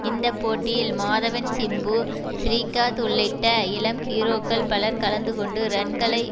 இந்த போட்டியில் மாதவன் சிம்பு ஸ்ரீகாத் உள்ளிட்ட இளம் ஹீரோக்கள் பலர் கலந்துகொண்டு ரன்களை